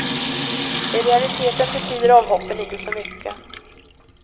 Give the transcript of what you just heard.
I realiteten betyder avhoppen inte så mycket.